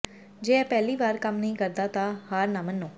ਜੇ ਇਹ ਪਹਿਲੀ ਵਾਰ ਕੰਮ ਨਹੀਂ ਕਰਦਾ ਤਾਂ ਹਾਰ ਨਾ ਮੰਨੋ